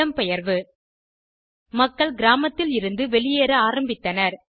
இடம்பெயர்வு மக்கள் கிராமத்தில் இருந்து வெளியேற ஆரம்பித்தனர்